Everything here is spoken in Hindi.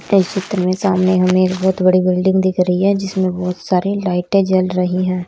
इस चित्र में सामने हमें एक बहोत बड़ी बिल्डिंग दिख रही है जिसमें बहोत सारी लाइटें जल रही हैं।